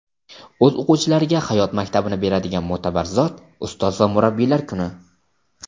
o‘z o‘quvchilariga hayot maktabini beradigan mo‘tabar zot - ustoz va murabbiylar kuni!.